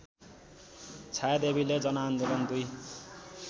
छायादेवीले जनआन्दोलन २